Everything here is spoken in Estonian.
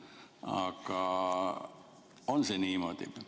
Aga on see niimoodi?